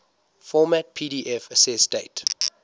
format pdf accessdate